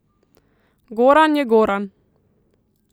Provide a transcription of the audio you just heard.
Goran je Goran.